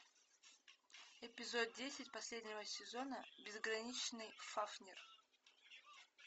эпизод десять последнего сезона безграничный фафнир